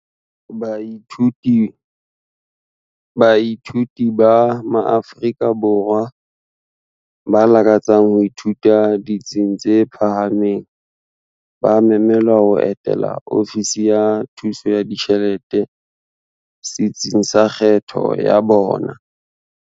Baithuti ba maAfrika Borwa ba lakatsang ho ithuta ditsing tse phahameng ba memelwa ho etela Ofisi ya Thuso ya Ditjhelete setsing sa kgetho ya bona.